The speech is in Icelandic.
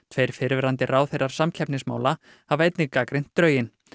tveir fyrrverandi ráðherrar samkeppnismála hafa einnig gagnrýnt drögin